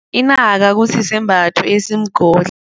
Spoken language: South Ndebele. Inaka kusisembatho esimgodla.